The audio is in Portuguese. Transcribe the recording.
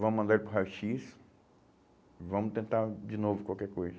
Vamos mandar ele para o raio - xis, vamos tentar de novo qualquer coisa.